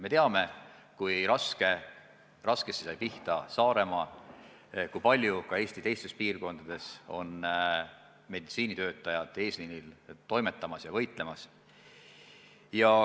Me teame, kui raskesti sai pihta Saaremaa, kui palju ka Eesti teistes piirkondades on meditsiinitöötajad eesliinil toimetamas ja võitlemas.